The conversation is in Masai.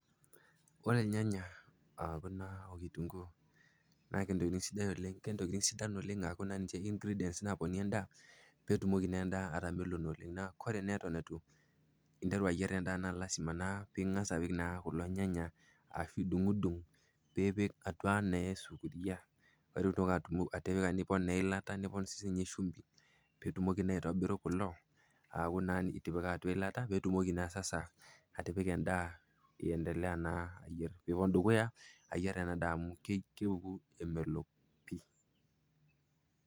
Ore ilnyanya o kitunguu naa kentokitin sidan oleng', ntokitin sidain oleng' naa ninche ingredients napiki endaa neitamelon oleng. Ore naa eton eitu interru ayier endaa na lazima naa ping'as naa apik kulo nyanya ashu idung'udung peepik atua naa esufuria pee itumoki atipika nipon naa eilata, nipon sii ninye shumbi, piitumoki aitobirru kulo aaku naa itipika atua eilata pee itumoki naa sasa atipika endaa iendelea naa ayer, piipon dukuya ayer ena daa amu keoku emelok pii.